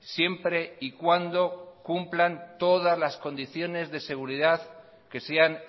siempre y cuando cumplan todas las condiciones de seguridad que sean